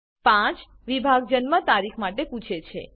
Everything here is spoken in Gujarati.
5 વિભાગ જન્મ તારીખ માટે પૂછે છે